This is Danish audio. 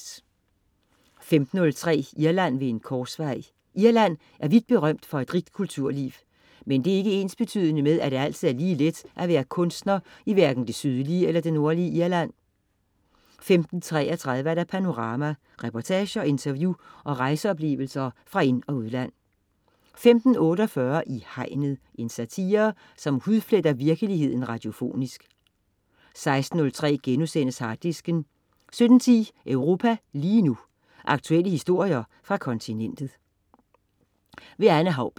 15.03 Irland ved en korsvej. Irland er vidt berømt for et rigt kulturliv. Men det er ikke ensbetydende med, at det altid er lige let at være kunstner i hverken det sydlige eller nordlige Irland 15.33 Panorama. Reportager, interview og rejseoplevelser fra ind- og udland 15.48 I Hegnet. Satire, som hudfletter virkeligheden radiofonisk 16.03 Harddisken* 17.10 Europa lige nu. Aktuelle historier fra kontinentet. Anne Haubek